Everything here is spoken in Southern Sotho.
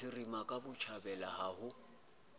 bophirima ka botjhabela ho ho